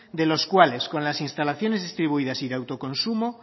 de los cuales con las instalaciones distribuidas y de autoconsumo